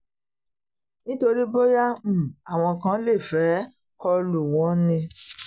nítorí bóyá um àwọn kan lè fẹ́ẹ́ kọ lù wọ́n ni